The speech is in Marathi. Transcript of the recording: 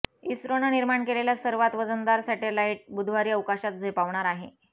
इस्रोनं निर्माण केलेला सर्वांत वजनदार सॅटेलाईट बुधवारी अवकाशात झेपावणार आहे